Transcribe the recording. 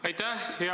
Aitäh!